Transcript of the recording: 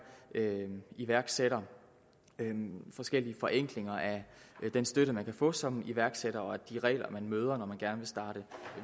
iværksætter forskellige forenklinger af den støtte man kan få som iværksætter og af de regler man møder når man gerne vil starte